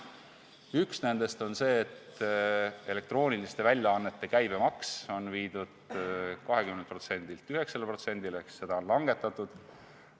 Üks nendest on see, et elektrooniliste väljaannete käibemaks on viidud 20%-lt 9%-le ehk seda on langetatud.